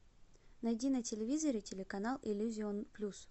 найди на телевизоре телеканал иллюзион плюс